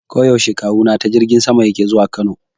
Koda yaushe Kawuna ta jirgin sama yake zuwa Kano.